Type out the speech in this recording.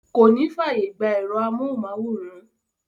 Kò ní fáàyè gbà ẹ̀rọ amóhùnmáwòrán.